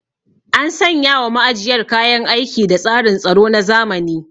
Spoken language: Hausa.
An sanya wa ma'ajiyar kayan aiki da tsarin tsaro na zamani.